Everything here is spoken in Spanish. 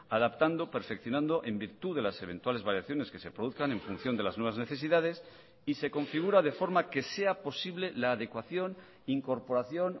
adaptando perfeccionando en virtud de las eventuales variaciones que se produzcan en función de las nuevas necesidades y se configura de forma que sea posible la adecuación incorporación